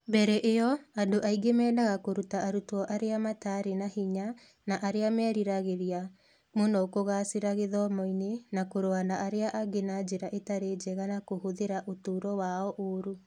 Mbere ĩyo, andũ aingĩ meendaga kũruta arutwo arĩa mataarĩ na hinya na arĩa meriragĩria mũno kũgaacĩra gĩthomo-inĩ na kũrũa na arĩa angĩ na njĩra ĩtarĩ njega na kũhũthĩra ũtũũro wao ũũru.